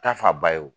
Ta fa ba ye o